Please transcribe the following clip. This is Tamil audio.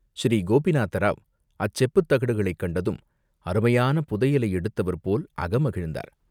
ஸ்ரீகோபிநாதராவ் அச்செப்புத் தகடுகளைத் கண்டதும் அருமையான புதையலை எடுத்தவர் போல் அகமகிழ்ந்தார்.